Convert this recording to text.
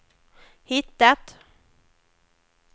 hittat